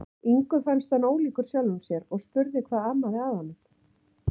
Ingu fannst hann ólíkur sjálfum sér og spurði hvað amaði að honum.